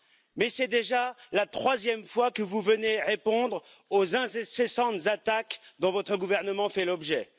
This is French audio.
mais c'est déjà la troisième fois que vous venez répondre aux incessantes attaques dont votre gouvernement fait l'objet.